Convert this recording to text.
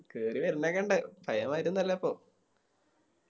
കേറി വരണൊക്കെ ഇണ്ട് പയെ മാരി ഒന്നല്ലപ്പോ